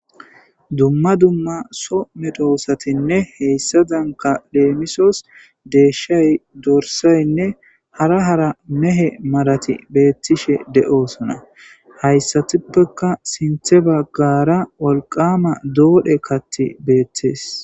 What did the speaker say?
Dumma dumma soo medosatinne hesaadanka leemisos deeshay, dorsaynne hara hara mehe malati beetishe de'osonna; haysatuppeka sinththe bagaara wolqama doodhe kaththi beetees.